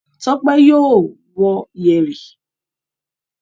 Tọ́pẹ́ yóò wọ yẹ̀rì.